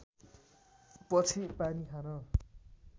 पछि पानी खान